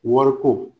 Wariko